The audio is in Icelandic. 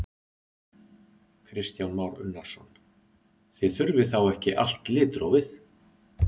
Kristján Már Unnarsson: Þið þurfið þá ekki allt litrófið?